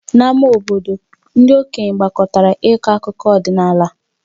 N'ámá obodo, ndị okenye gbakọtara ịkọ akụkọ ọdịnala